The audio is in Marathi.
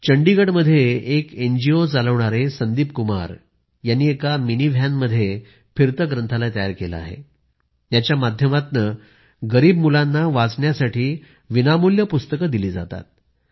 चंडीगढमध्ये एक एनजीओ चालवणारे संदीप कुमार जी यांनी एका मिनीव्हॅनमध्ये फिरतं ग्रंथालय तयार केलं आहे याच्या माध्यमातनं गरिब मुलांना वाचण्यासाठी विनामूल्य पुस्तकं दिली जातात